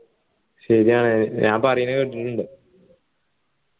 ശരിയാണ് ഞാൻ പറയുന്ന കെട്ടിട്ടുണ്ട്